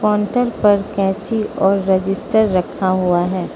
Counter पर कैंची और रजिस्टर रखा हुआ है।